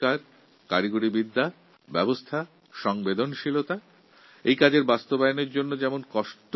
আর এই সব জিনিস সহজলভ্য করার জন্য এই বিষয়ে আমাদের প্রয়োজন উদ্ভাবনী শক্তির নতুন প্রযুক্তির এবং সংবেদনশীল মনের